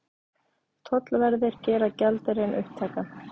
Tollverðir gera gjaldeyrinn upptækan